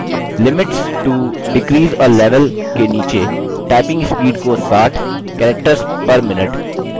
typing speed को 60 characters per minute और correctness को 60 पर निर्धारित करें